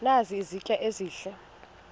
nazi izitya ezihle